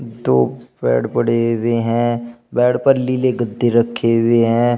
दो बेड पड़े हुए हैं बेड पर नीले गद्दे रखे हुए है।